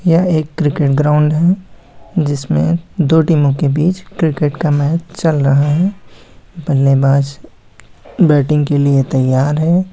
यह एक cricket ground है जिसमे दो टीमो के बीच क्रिकेट का मैच चल रहा हैं। बल्लेबाज बैटिंग के लिए तैय्यार है।